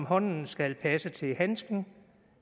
hånden skal passe til handsken